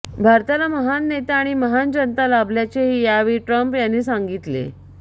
भारताला महान नेता आणि महान जनता लाभल्याचेही यावेळी ट्रम्प यांनी सांगितले